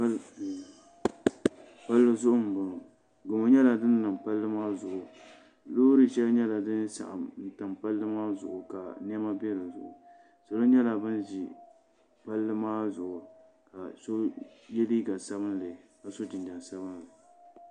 Palli zuɣu n bɔŋɔ gamo nyɛla din niŋ palli maa zuɣu loori shɛli nyɛla din saɣam tam palli maa zuɣu ka niɛma bɛ dinni salo nyɛla bin ʒi palli maa zuɣu ka so yɛ liiga sabinli ka so jinjɛm sabinli